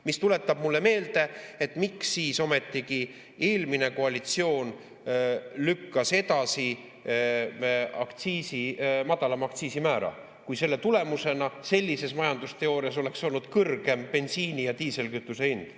See tuletab mulle meelde, et miks siis ometi eelmine koalitsioon lükkas edasi madalama aktsiisimäära, kui selle tulemusena sellise majandusteooria järgi oleks olnud kõrgem bensiini ja diislikütuse hind.